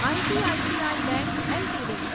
ICICI bank LTD